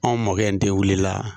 Anw mɔkɛ in tɛ wilila